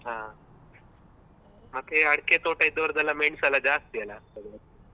ಹ ಮತ್ತೆ ಅಡ್ಕೆ ತೊಟ ಇದ್ದವ್ರ್ದೆಲ್ಲಾ ಮೆಣಸು ಎಲ್ಲ ಜಾಸ್ತಿ ಅಲ ಆ ಕಡೆ.